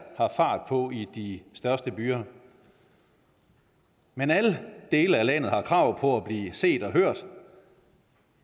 har fart på i de største byer men alle dele af landet har krav på at blive set og hørt